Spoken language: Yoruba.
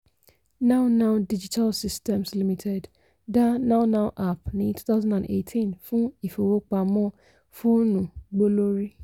nownow digital systems limited dá nownow app ní 2018 fún ìfowópamọ́ fóònù gbólorí.